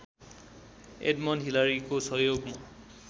Edmund हिलारीकको सहयोगमा